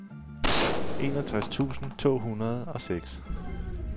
enogtres tusind to hundrede og seks